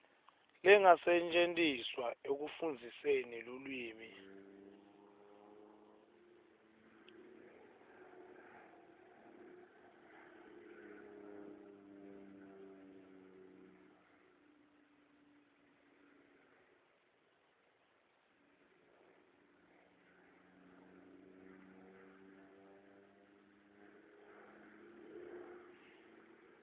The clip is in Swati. lengasetjentiswa ekufundziseni lulwimi